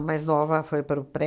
mais nova foi para o pré.